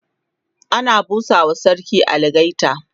ana busawa sarki algaita